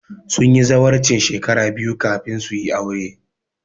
Sun yi zawarcin shekara biyu kafin su yi aure